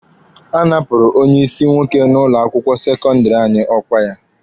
A napụrụ onye ịsị nwoke n'ụlọ akwụkwọ sekọndịrị anyị ọkwa ya.